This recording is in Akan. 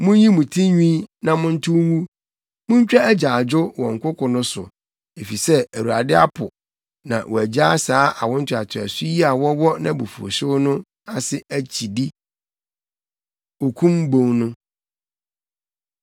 Munyi mo tinwi na montow ngu, muntwa agyaadwo wɔ nkoko no so, efisɛ Awurade apo, na wagyaa saa awo ntoatoaso yi a wɔwɔ nʼabufuwhyew no ase akyidi.’ ” Okum Bon No